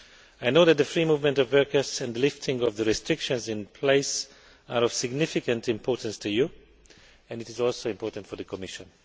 I know that the free movement of workers and the lifting of the restrictions in place are of significant importance to you and it is also important for the Commission.